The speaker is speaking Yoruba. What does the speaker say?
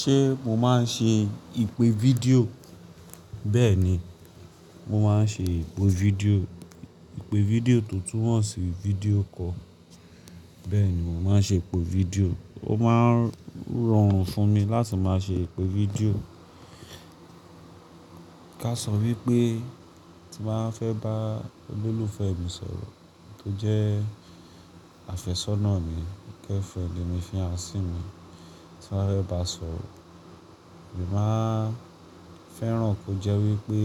Ṣé mo máa ń ṣe ìpè video? Bẹ́ẹ̀ni, mo máa ń ṣe ìpè video. Ìpè video to tumọ́ sí video call Bẹ́ẹ̀ni mò máa ń ṣe ìpè video Ó máa ń rọrùn fún mi láti máa ṣe ìpè fídíò. Ká sọ wípé tí n ba fẹ́ bá olólùfẹ́ mi sọ̀rọ̀ tó jẹ́ àfẹ́sọ́nà mi, girlfriend mi, fiance sí mi, tí n bá a sọ̀rọ̀, èmi máa fẹ́ràn kí ó jẹ́ wípé